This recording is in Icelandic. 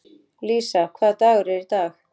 Lísa, hvaða dagur er í dag?